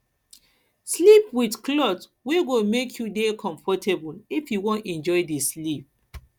sleep with cloth wey go make you dey comfortable if you wan enjoy di sleep